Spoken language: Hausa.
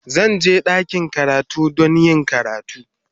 Zan je ɗakin karatu don yin karatu.